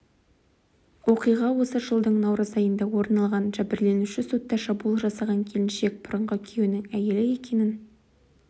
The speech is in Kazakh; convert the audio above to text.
оқиға осы жылдың наурыз айында орын алған жәбірленуші сотта шабуыл жасаған келіншек бұрынғы күйеуінің әйелі екенін